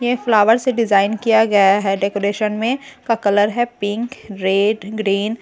ये फ्लावर से डिजाइन किया गया है डेकोरेशन में का कलर है पिंक रेड ग्रीन ।